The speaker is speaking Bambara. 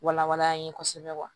Wala wala an ye kosɛbɛ kuwa